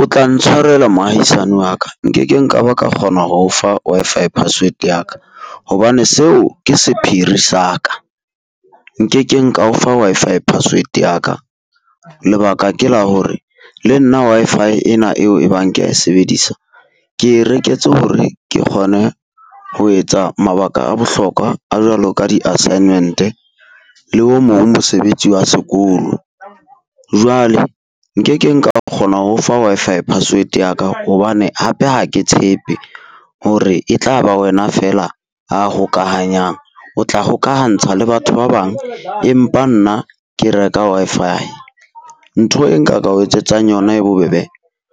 O tla ntshwarela moahisani wa ka nkekeng ka ba ka kgona ho o fa Wi-Fi password ya ka, hobane seo ke sephiri sa ka. Nkekeng ka o fa Wi-Fi password ya ka, lebaka ke la hore le nna Wi-Fi ena eo e bang kea e sebedisa. Ke e reketse hore ke kgone ho etsa mabaka a bohlokwa a jwalo ka di assignment-e, le o mong mosebetsi wa sekolo. Jwale nkekeng ka kgona ho o fa Wi-Fi password ya ka hobane hape ha ke tshepe hore e tla ba wena feela a hokahanyang. O tla hokahantsha le batho ba bang, empa nna ke reka Wi-Fi. Ntho e nka ka o etsetsang yona e bobebe